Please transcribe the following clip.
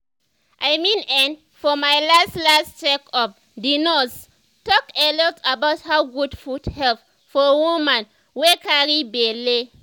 i mean[um]for my last last check up the nurse talk a lot about how good food help for woman wey carry belle